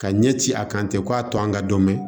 Ka ɲɛ ci a kan ten ko a to an ka dɔn bɛ